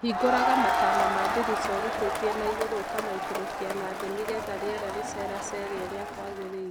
Hingũraga matama ma ndirica ũrutĩtie na igũrũ ũkamaikũrũkia na thĩ nĩgetha rĩera rĩceracere ũrĩa kwagĩrĩire.